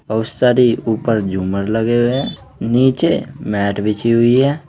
और सभी ऊपर झूमर लगे हुए हैं नीचे मैट बिछी हुई है।